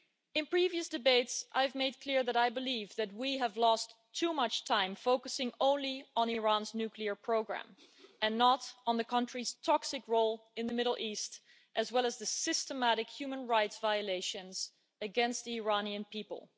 In previous debates, I have made clear that I believe that we have lost too much time focusing only on Iran's nuclear programme and not on the country's toxic role in the Middle East as well as the systematic human rights violations against the Iranian people.